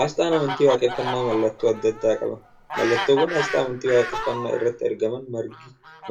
Asxaan amantii waaqeeffannaa mallattoo adda addaa qaba. Mallattoowwan asxaa amantii waaqeeffannaa irratti argaman